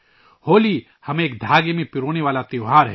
ہولی ، ہمیں متحد کرنے والا تہوار ہے